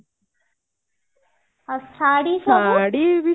ଆଉ ଶାଢୀ ସବୁ